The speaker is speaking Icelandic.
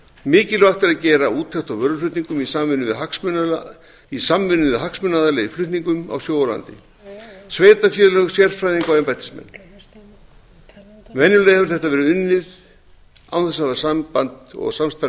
mikilvægt er að gera úttekt á vöruflutningum í samvinnu við hagsmunaaðila í flutningum á sjó og landi sveitarfélög sérfræðinga og embættismenn venjulega hefur þetta verið unnið án þess að hafa samband og samstarf